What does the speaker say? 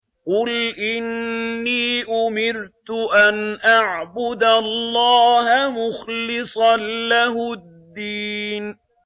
قُلْ إِنِّي أُمِرْتُ أَنْ أَعْبُدَ اللَّهَ مُخْلِصًا لَّهُ الدِّينَ